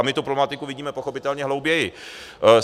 A my tu problematiku vidíme pochopitelně hlouběji.